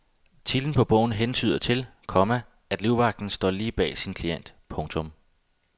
Titlen på bogen hentyder til, komma at livvagten altid står lige bag sin klient. punktum